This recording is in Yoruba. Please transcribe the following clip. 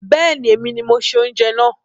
Bẹ́ẹ̀ni, èmi ni mo ṣe oúnjẹ náà